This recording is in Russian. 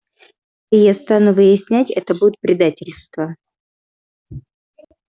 и я стану выяснять это будет предательство